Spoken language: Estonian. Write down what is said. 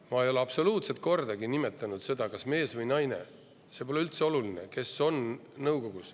Ma ei ole kordagi seda, kes peaks olema nõukogus, kas mehed või naised, see pole üldse oluline.